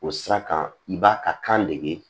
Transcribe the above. O sira kan i b'a ka kan dege